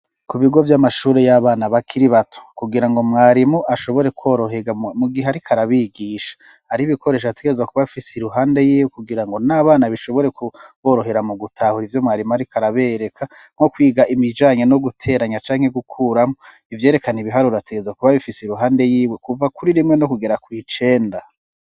Ku bigo vy'amashuri y'abana bakiri bato kugira ngo mwarimu ashobore kworohera mu gihe arika arabigisha ari ibikoresha ategeza kuba bfise i ruhande yiwe kugira ngo n'abana bishobore kuborohera mu gutahura ivyo mwarimu, ariko arabereka mwo kwiga imijanyo no guteranya canke gukuramwo ivyerekana ibiharurategeza kuba bifise i ruhande yiwe kuva kuri rimwe no kugera kw icenda.